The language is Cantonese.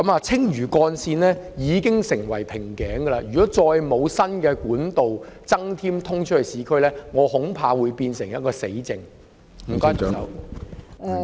青嶼幹線現已成為一個瓶頸，如不再增設通往市區的新幹道，恐怕這會變成"死症"。